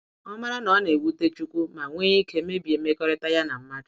Ọ mara na ọ na ewute chukwu ma nwee ike mebie mmekọrịta ya na mmadụ.